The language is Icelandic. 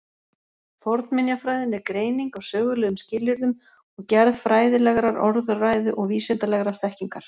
Fornminjafræðin er greining á sögulegum skilyrðum og gerð fræðilegrar orðræðu og vísindalegrar þekkingar.